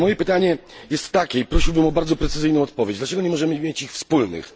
Ale moje pytanie jest takie i prosiłbym o bardzo precyzyjną odpowiedź dlaczego nie możemy mieć ich wspólnych?